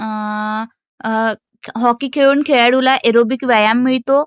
Hockey खेळून खेळाडूला aerobic व्यायाम मिळतो.